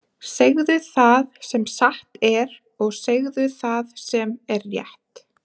Segðu það sem satt er, og segðu það sem er rétt!